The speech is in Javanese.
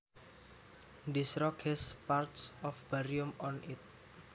This rock has parts of barium on it